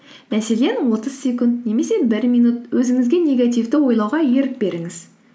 мәселен отыз секунд немесе бір минут өзіңізге негативті ойлауға ерік беріңіз